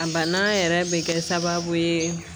A banna yɛrɛ bɛ kɛ sababu ye